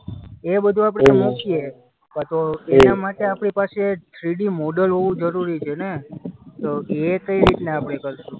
એ બધું આપણે કાંતો એના માટે આપણી પાસે થ્રીડી મોડલ હોવું જરૂરી છેને? તો એ કઈ રીતના આપણે કરશું?